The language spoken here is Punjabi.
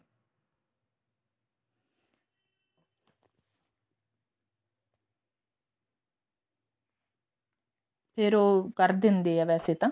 ਫੇਰ ਉਹ ਕਰ ਦਿੰਦੇ ਆ ਵੈਸੇ ਤਾਂ